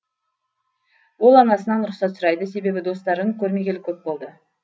ол анасынан рұқсат сұрайды себебі достарын көрмегелі көп болды